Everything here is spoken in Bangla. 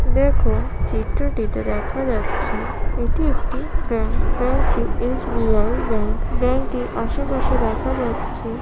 দেখো চিত্রটিতে দেখা যাচ্ছে এটি একটি ব্যাঙ্ক । ব্যাংক টি এস.বি.আই. ব্যাংক । ব্যাংক টির আশেপাশে দেখা যাচ্ছে।